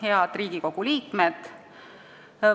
Head Riigikogu liikmed!